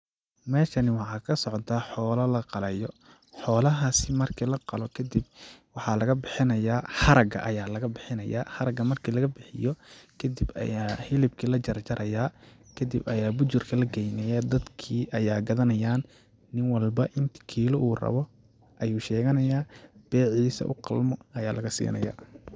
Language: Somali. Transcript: Meeshani waxaa ka socdaa xoola la qalayo ,xoola haasi marki la qalo kadib waxaa laga bixinaya haraga ayaa laga bixinayaa ,haraga marki laga bixiyo kadib ayaa hilibki la jarjarayaa ,kadib ayaa bujurka la geynayaa ,dadkii ayaa gadanayaan ,nin walba inti kiila uu rabo ayuu sheganaya ,beeciisa u qalmo ayaa laga siinayaa.